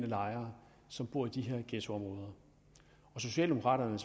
lejere som bor i de her ghettoområder socialdemokraterne